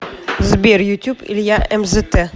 сбер ютюб илья эмзэтэ